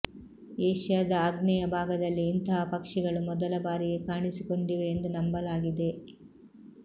ಏಷ್ಯಾದ ಆಗ್ನೇಯ ಭಾಗದಲ್ಲಿ ಇಂತಹ ಪಕ್ಷಿಗಳು ಮೊದಲ ಬಾರಿಗೆ ಕಾಣಿಸಿಕೊಂಡಿವೆ ಎಂದು ನಂಬಲಾಗಿದೆ